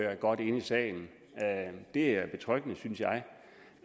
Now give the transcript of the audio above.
er godt inde i sagen det er betryggende synes jeg